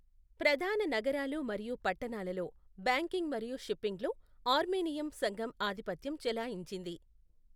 ప్రధాన నగరాలు మరియు పట్టణాలలో బ్యాంకింగ్ మరియు షిప్పింగ్లో ఆర్మేనియన్ సంఘం ఆధిపత్యం చెలాయించింది.